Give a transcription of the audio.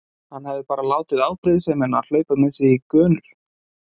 Hann hafði bara látið afbrýðisemina hlaupa með sig í gönur.